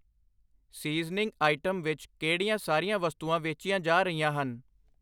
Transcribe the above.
Seasoning item ਵਿੱਚ ਕਿਹੜੀਆਂ ਸਾਰੀਆਂ ਵਸਤੂਆਂ ਵੇਚੀਆਂ ਜਾ ਰਹੀਆਂ ਹਨ?